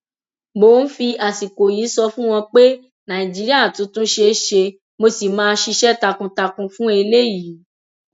mo ń fi àsìkò yìí sọ fún wọn pé nàìjíríà tuntun ṣeé ṣe mo sì máa ṣiṣẹ takuntakun fún eléyìí